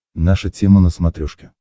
наша тема на смотрешке